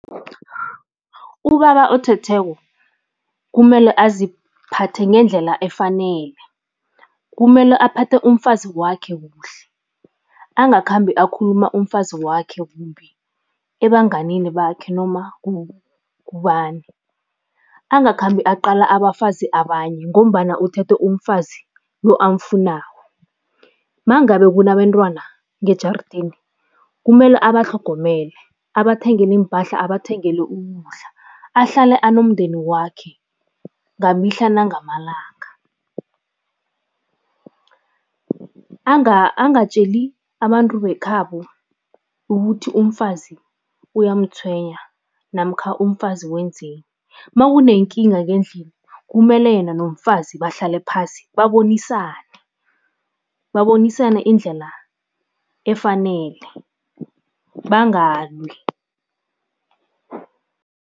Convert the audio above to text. Ubaba othetheko kumele aziphethe ngendlela efanele, kumele aphathe umfazi wakhe kuhle, angakhambi akhuluma umfazi wakhe kumbi ebanganini bakhe noma kubani, angakhambi aqala abafazi abanye ngombana uthethe umfazi lo amfunako, mangabe kunabentwana ngejaridini, kumele abatlhogomele, abathengele iimpahla, abathengele ukudla, ahlale anomndeni wakhe ngamihla nangamalanga, angatjeli abantu bekhabo ukuthi umfazi uyamtshwenya namkha umfazi wenzeni, makunenkinga ngendlini, kumele yena nomfazi bahlale phasi babonisane, babonisane indlela efanele, bangalwi.